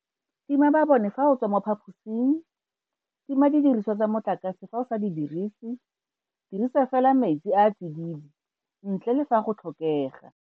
Tima mabone fa o tswa mo phaposing. Tima didiriswa tsa motlakase fa o sa di dirise. Dirisa fela metsi a a tsididi, ntle le fa go tlhokega.